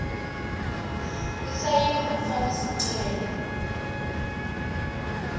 isayini umfaki sicelo